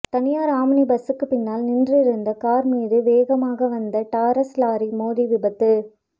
தனியார் ஆம்னி பஸ்சுக்கு பின்னால் நின்றிருந்த கார் மீது வேகமாக வந்த டாரஸ் லாரி மோதி விபத்து